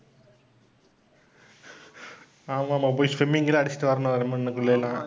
ஆமாம், ஆமாம். போயி swimming தான் அடிச்சுட்டு வரணும்